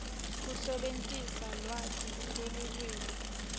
kusebentisa lwati lwelulwimi